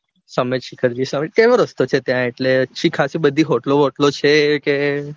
સંમેતશિખરજી કેવો રસ્તો છે એટલે પછી ખાસી બધી hotal બોટલો છે કે